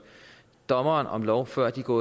dommer om lov før de går